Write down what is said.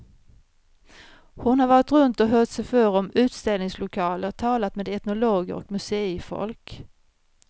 Hon har varit runt och hört sig för om utställningslokaler, talat med etnologer och museifolk.